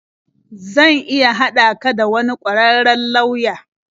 Zan iya haɗa ka da wani ƙwararren lauya.